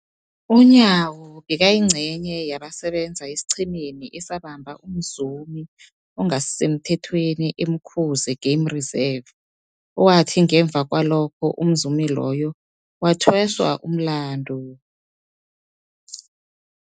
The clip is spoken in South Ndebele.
UNyawo bekayingcenye yabasebenza esiqhemeni esabamba umzumi ongasisemthethweni e-Umkhuze Game Reserve, owathi ngemva kwalokho umzumi loyo wathweswa umlandu.